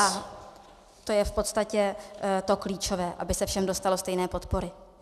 A to je v podstatě to klíčové, aby se všem dostalo stejné podpory.